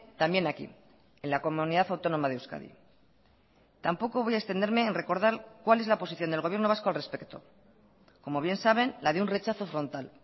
también aquí en la comunidad autónoma de euskadi tampoco voy a extenderme en recordar cuál es la posición del gobierno vasco al respecto como bien saben la de un rechazo frontal